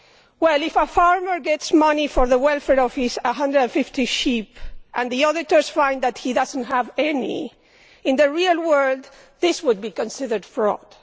Well, if a farmer gets money for the welfare of his 150 sheep and the auditors find that he does not have any, in the real world this would be considered fraud.